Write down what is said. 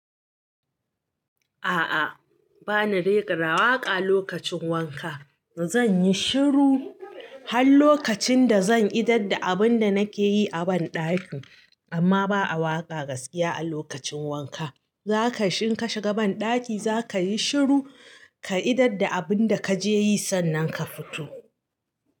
A'a bana rera da waƙa lokacin wanka. Zan yi shiru har lokacin da zan idar da abun da nake yi a ban ɗaki. Amma ba a waƙa gaskiya a lokacin wanka. Zaka shig, in ka shiga ban ɗaki zaka yi shiru ka idar da abun da kaje yi sannan ka fito.